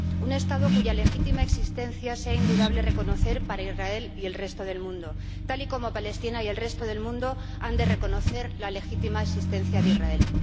Un Estado cuya legítima existencia sea indudable reconocer para Israel y el resto del mundo, tal y como Palestina y el resto del mundo han de reconocer la legítima existencia de Israel.